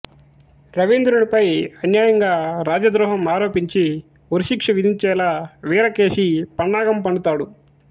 రవీంద్రునిపై అన్యాయంగా రాజద్రోహం ఆరోపించి ఉరిశిక్ష విధించేలా వీరకేశి పన్నాగం పన్నుతాడు